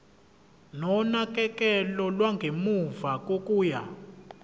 nonakekelo lwangemuva kokuya